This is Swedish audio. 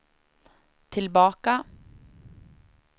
tillbaka